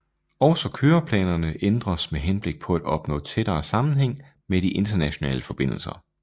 Også køreplanerne ændres med henblik på at opnå tættere sammenhæng med de internationale forbindelser